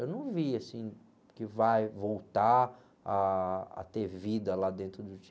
Eu não vi, assim, que vai voltar ah, a ter vida lá dentro do Tietê.